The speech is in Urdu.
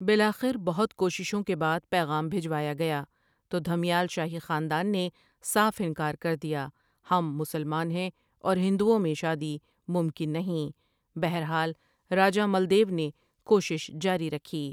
بالآخر بہت کوششوں کے بعد پیغام بھجوایا گیا تو دھمیال شاہی خاندان نے صاف انکار کر دیا ہم مسلمان ہیں اور ہندٶں میں شادی ممکن نہیں بہر حال راجہ ملدیو نے کوشش جاری رکھی ۔